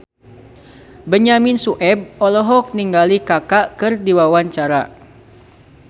Benyamin Sueb olohok ningali Kaka keur diwawancara